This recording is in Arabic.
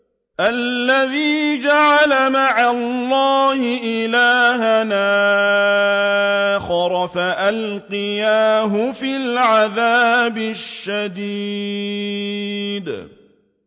الَّذِي جَعَلَ مَعَ اللَّهِ إِلَٰهًا آخَرَ فَأَلْقِيَاهُ فِي الْعَذَابِ الشَّدِيدِ